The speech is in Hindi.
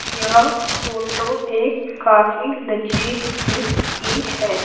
यह फोटो एक काफी लजीज डिस की है।